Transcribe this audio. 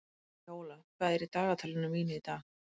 Víóla, hvað er í dagatalinu mínu í dag?